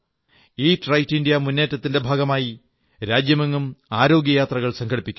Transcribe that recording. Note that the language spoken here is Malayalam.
ഈറ്റ് റൈറ്റ് ഇന്ത്യ മുന്നേറ്റത്തിന്റെ ഭാഗമായി രാജ്യമെങ്ങും ആരോഗ്യ യാത്രകൾ സംഘടിപ്പിക്കുന്നു